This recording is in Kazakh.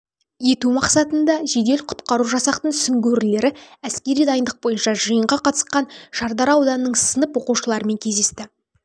ету мақсатында жедел-құтқару жасақтың сүңгуірлері әскери дайындық бойынша жиынға қатысқан шардара ауданының сынып оқушыларымен кездесті